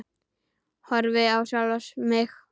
Horfi á sjálfa mig.